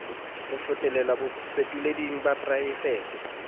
ho fetolelwa bafetoleding ba poraefete